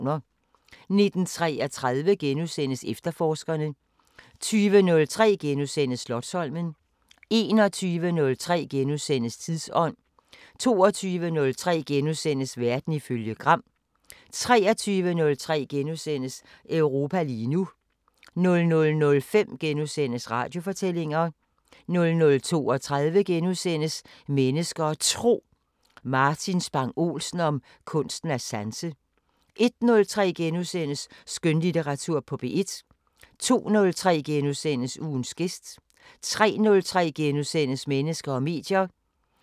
19:33: Efterforskerne * 20:03: Slotsholmen * 21:03: Tidsånd * 22:03: Verden ifølge Gram * 23:03: Europa lige nu * 00:05: Radiofortællinger * 00:32: Mennesker og Tro: Martin Spang Olsen om kunsten at sanse * 01:03: Skønlitteratur på P1 * 02:03: Ugens gæst * 03:03: Mennesker og medier *